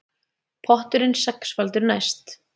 Potturinn sexfaldur næst